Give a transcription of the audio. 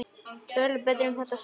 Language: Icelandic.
Tölum betur um þetta seinna.